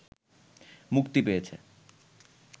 মুক্তি পেয়েছে